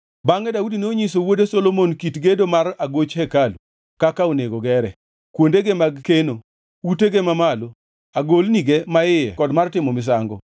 Bangʼe Daudi nonyiso wuode Solomon kit gedo mar agoch hekalu, kaka onego gere, kuondege mag keno, utege mamalo, agolnige maiye kod kar timo misango.